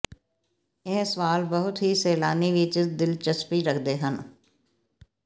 ਇਹ ਸਵਾਲ ਬਹੁਤ ਹੀ ਸੈਲਾਨੀ ਵਿੱਚ ਦਿਲਚਸਪੀ ਰੱਖਦੇ ਹਨ